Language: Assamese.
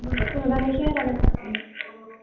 তোৰ দাদাৰ লেখিয়াহে লাগে